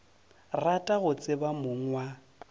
rata go tseba mong wa